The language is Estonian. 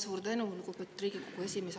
Suur tänu, lugupeetud Riigikogu esimees!